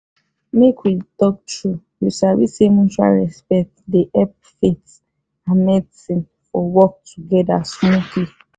make we talk true you sabi say mutual respect dey help faith and medicine for work together smoothly